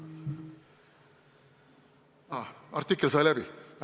Aa, artikkel sai läbi!